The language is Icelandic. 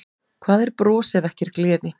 Hvað er bros ef ekki er gleði?